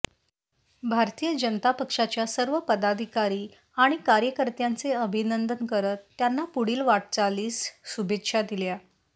भारतीय जनता पक्षाच्या सर्व पदाधिकारी आणि कार्यकर्त्यांचे अभिनंदन करत त्यांना पुढील वाटचालीस शुभेच्छा दिल्या